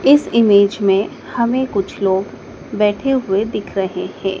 इस इमेज में हमें कुछ लोग बैठे हुए दिख रहे हैं।